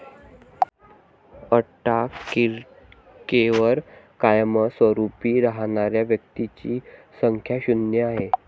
अंटार्क्टिकेवर कायमस्वरुपी राहणाऱ्या व्यक्तींची संख्या शुन्य आहे.